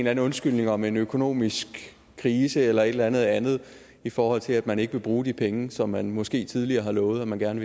anden undskyldning om en økonomisk krise eller et eller andet andet i forhold til at man ikke vil bruge de penge som man måske tidligere har lovet at man gerne